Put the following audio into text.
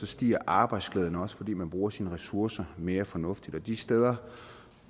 stiger arbejdsglæden også fordi man bruger sine ressourcer mere fornuftigt og de steder